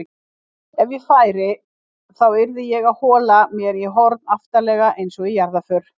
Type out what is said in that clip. Ef ég færi þá yrði ég að hola mér í horn aftarlega einsog í jarðarför